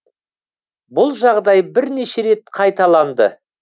бұл жағдай бірнеше рет қайталанды